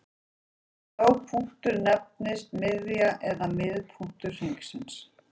Sá punktur nefnist miðja eða miðpunktur hringsins.